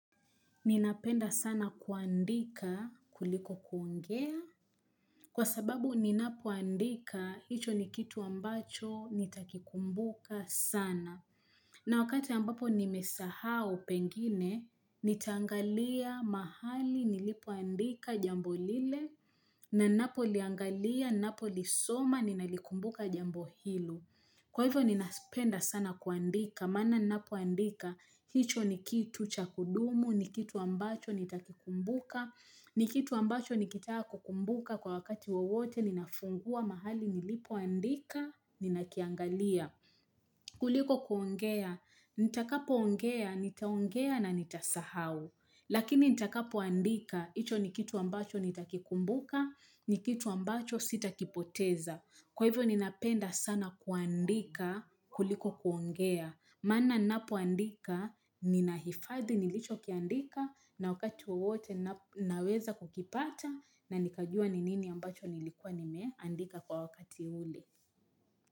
Ninapenda sana kuandika kuliko kuongea kwa sababu ninapoandika hicho ni kitu ambacho nitakikumbuka sana. Na wakati ambapo nimesahau pengine nitangalia mahali nilipoandika jambo lile na ninapo liangalia ninapo lisoma ninalikumbuka jambo hilo. Kwa hivyo ninapenda sana kuandika, mana ninapuandika, hicho ni kitu chakudumu, ni kitu ambacho nitakikumbuka, ni kitu ambacho nikitaka kukumbuka kwa wakati wawote ninafungua mahali nilipoandika, ninakiangalia. Kuliko kuongea, nitakapo ongea, nitaongea na nitasahau, lakini nitakapo andika, hicho ni kitu ambacho nitakikumbuka, ni kitu ambacho sitakipoteza. Kwa hivyo ninapenda sana kuandika kuliko kuongea. Maana ninapoandika, ninahifadhi nilicho kiandika na wakati wote naweza kukipata na nikajua nini ambacho nilikuwa nimea andika kwa wakati ule.